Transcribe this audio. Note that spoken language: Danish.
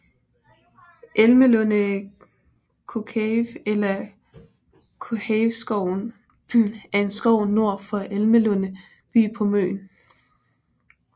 Elmelunde Kokave eller Kohaveskoven er en skov nord for Elmelunde by på Møn